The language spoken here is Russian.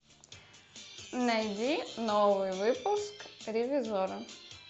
найди новый выпуск ревизорро